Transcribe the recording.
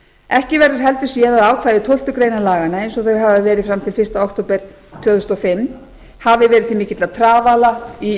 ekki verður heldur séð að ákvæði tólfta laganna eins og þau hafa verið fram til fyrsta október tvö þúsund og fimm hafi verið til mikilla trafala í